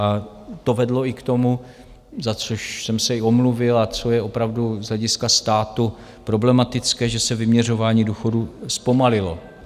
A to vedlo i k tomu - za což jsem se i omluvil a co je opravdu z hlediska státu problematické - že se vyměřování důchodů zpomalilo.